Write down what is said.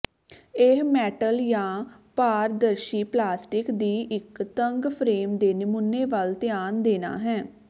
ਇਹ ਮੈਟਲ ਜਾਂ ਪਾਰਦਰਸ਼ੀ ਪਲਾਸਟਿਕ ਦੀ ਇਕ ਤੰਗ ਫਰੇਮ ਦੇ ਨਮੂਨੇ ਵੱਲ ਧਿਆਨ ਦੇਣਾ ਹੈ